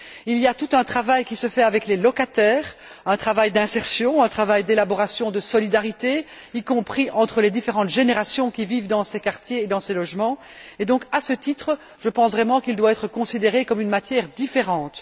Il y a tout un travail qui se fait avec les locataires, un travail d'insertion, un travail de mise en place de solidarités, y compris entre les différentes générations qui vivent dans ces quartiers et dans ces logements et donc, à ce titre, je pense vraiment qu'il doit s'agir d'une matière différente.